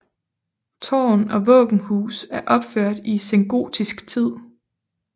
Tårn og våbenhus er opført i sengotisk tid